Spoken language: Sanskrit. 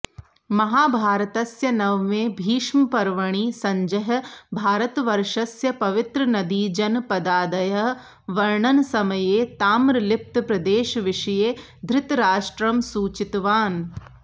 महाभारतस्य नवमे भीष्मपर्वणि सञ्जयः भारतवर्षस्य पवित्रनदीजनपदादयः वर्णनसमये ताम्रलिप्तप्रदेशविषये धृतराष्ट्रं सूचितवान्